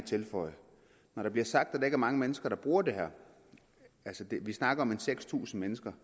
tilføje der bliver sagt at der ikke er mange mennesker der bruger det her altså vi snakker om cirka seks tusind mennesker